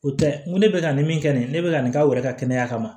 O tɛ n ko ne bɛ ka nin min kɛ nin ne bɛ ka nin k'aw yɛrɛ ka kɛnɛya kama